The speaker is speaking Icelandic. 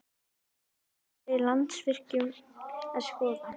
En hvaða breytingar er Landsvirkjun að skoða?